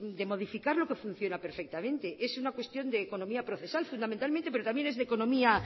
de modificar lo que funciona perfectamente es una cuestión de economía procesal fundamentalmente pero también es de economía